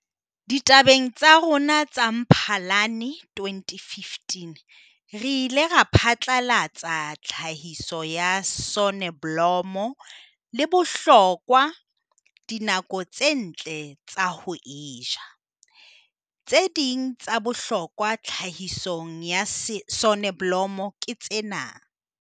Ditabeng tsa rona tsa Mphalane 2015 re ile ra phatlalatsa ka tlhahiso ya soneblomo le bohlokwa dinako tse ntle tsa ho e jala. Tse ding tsa bohlokwa tlhahisong ya soneblomo ke tsena.